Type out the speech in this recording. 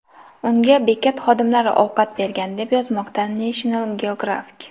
Unga bekat xodimlari ovqat bergan, deb yozmoqda National Geographic.